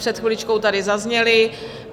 Před chviličkou tady zazněly.